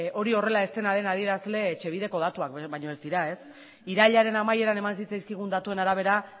hori horrela ez den adierazle etxebideko datuak baino ez dira irailaren amaieran eman zitzaizkigun datuen arabera